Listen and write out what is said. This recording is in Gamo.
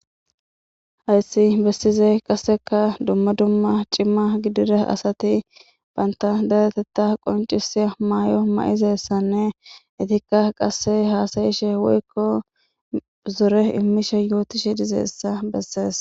hayssi bessize qasseka dumma dumma cimma gidire asati baynta daretetta qoncisi maayo ma7izessanne itikka qasse haasayishe woykko zore imishe yooti she dizessa bessees